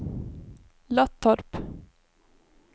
Löttorp